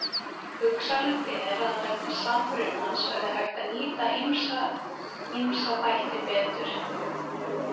Hugsanlegt er að vegna samrunans verði hægt að nýta ýmsa ýmsa þætti betur.